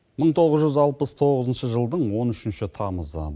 мың тоғыз жүз алпыс тоғызыншы жылдың он үшінші тамызы